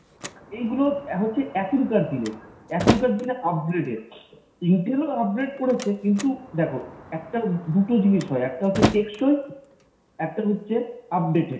এইগুলো হচ্ছে এখনকার দিনের, এখনকার দিনে upgraded। intel ও upgrade করেছে, কিন্তু দেখো একটা দুটো জিনিস হয় একটা হচ্ছে টেকসই একটা হচ্ছে updated।